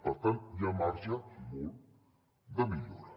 per tant hi ha marge i molt de millora